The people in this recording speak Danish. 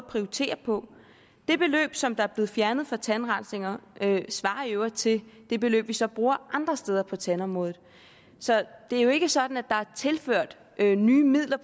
prioritere på det beløb som er blevet fjernet fra tandrensninger svarer i øvrigt til det beløb vi så bruger andre steder på tandområdet så det er jo ikke sådan at der er tilført nye midler